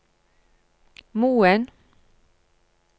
Moen